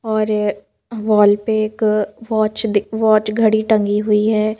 और वॉल पे एक वॉच दिक वॉच घड़ी टंगी हुई है।